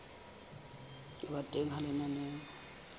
ho ba teng ha lenaneo